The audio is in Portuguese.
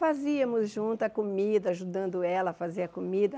Fazíamos junto a comida, ajudando ela a fazer a comida.